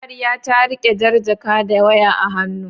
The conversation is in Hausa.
Amarya ta riƙe jar jaka da waya a hannu.